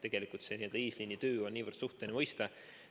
See n‑ö eesliinitöö on niivõrd suhteline mõiste.